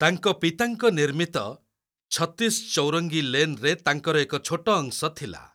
ତାଙ୍କ ପିତାଙ୍କ ନିର୍ମିତ 'ଛତ୍ତିଶ୍ ଚୌରଙ୍ଗି ଲେନ୍' ରେ ତାଙ୍କର ଏକ ଛୋଟ ଅଂଶ ଥିଲା।